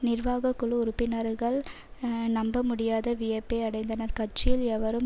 நிர்வாக குழு உறுப்பினர்கள் நம்பமுடியாத வியப்பை அடைந்தனர் கட்சியில் எவரும்